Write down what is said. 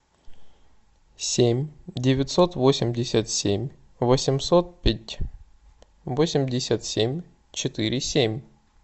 семь девятьсот восемьдесят семь восемьсот пять восемьдесят семь четыре семь